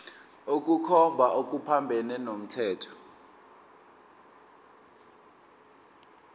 ukukhomba okuphambene nomthetho